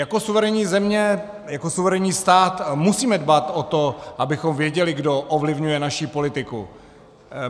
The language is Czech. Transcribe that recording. Jako suverénní země, jako suverénní stát musíme dbát o to, abychom věděli, kdo ovlivňuje naši politiku.